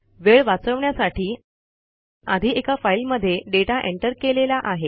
वेळ वाचवण्यासाठी आधी एका फाईलमध्ये डेटा एंटर केलेला आहे